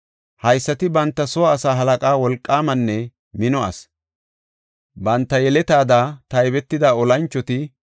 haysati banta soo asaa halaqa; wolqaamanne mino asi. Banta yeletada taybetida olanchoti 17,200.